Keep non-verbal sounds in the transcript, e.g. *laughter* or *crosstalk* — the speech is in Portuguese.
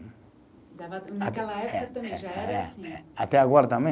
*unintelligible* Dava naquela época também já era assim. Até agora também